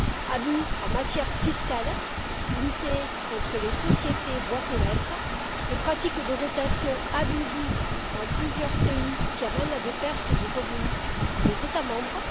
Abus en matière fiscale, au regard de la lutte contre les sociétés boîtes aux lettres et les pratiques de rotation abusives dans plusieurs pays, qui amènent à des pertes de revenus pour les États membres